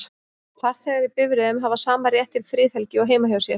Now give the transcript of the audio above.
Farþegar í bifreiðum hafa sama rétt til friðhelgi og heima hjá sér.